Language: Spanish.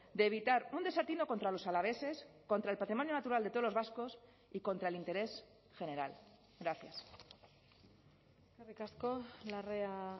de evitar un desatino contra los alaveses contra el patrimonio natural de todos los vascos y contra el interés general gracias eskerrik asko larrea